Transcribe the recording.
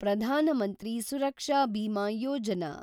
Pradhan Mantri Suraksha Bima Yojana